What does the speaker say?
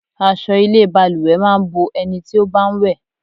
Aṣọ ilé balùwẹ̀ máa ń bo ẹni tí ó bá ń wẹ̀.